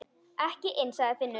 Ekki inni, sagði Finnur.